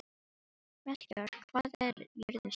Melkíor, hvað er jörðin stór?